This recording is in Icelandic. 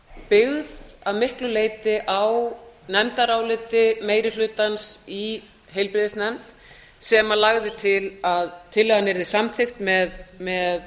byggð að miklu leyti á nefndaráliti meiri hlutans í heilbrigðisnefnd sem lagði til að tillagan yrði samþykkt með